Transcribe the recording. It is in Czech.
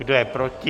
Kdo je proti?